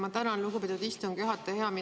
Ma tänan, lugupeetud istungi juhataja!